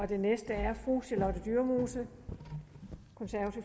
den næste er fru charlotte dyremose